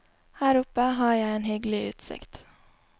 Her oppe har jeg en hyggelig utsikt.